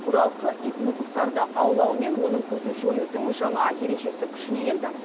бұралқы ит мысықтарды аулаумен оның көзін жоюдың жаңа ережесі күшіне енді